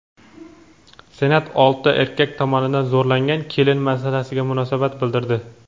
Senat olti erkak tomonidan zo‘rlangan kelin masalasiga munosabat bildirdi.